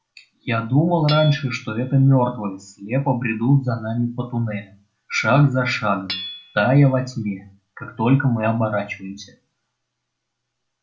я думал раньше что это мёртвые слепо бредут за нами по туннелям шаг за шагом тая во тьме как только мы оборачиваемся